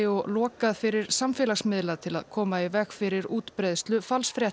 og lokað fyrir samfélagsmiðla til að koma í veg fyrir útbreiðslu